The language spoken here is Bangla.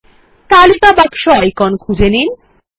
তালিকা বাক্স আইকন খুঁজে নিন